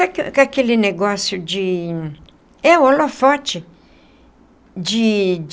Que é aquele negócio de... É holofote de.